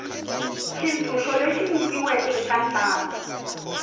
xitshunxo lexi nyikiweke eka ntlangu